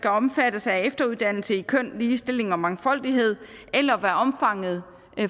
omfattes af efteruddannelse i køn ligestilling og mangfoldighed eller hvad omfanget